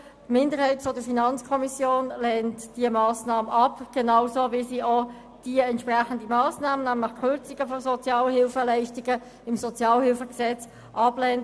Die Minderheit der FiKo lehnt diese Massnahme ab, genauso wie sie auch die entsprechende Massnahme, die Kürzung von Sozialhilfeleistungen im SHG, ablehnt.